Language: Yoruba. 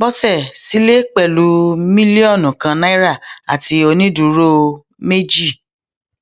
bọsẹ sílẹ pẹlú mílíọnù kan naira àti onídùúró méjì